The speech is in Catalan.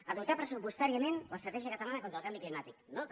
a dotar pressupostàriament l’estratègia catalana contra el canvi climàtic no també